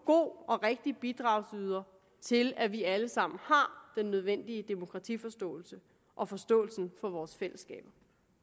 god bidragsyder til at vi alle sammen har den nødvendige demokratiforståelse og forståelsen for vores fællesskaber